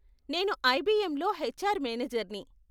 నేను ఐబీఎంలో హెచ్ఆర్ మేనేజర్ని.